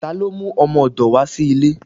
Talo mú ọmọdò wa sí ilé?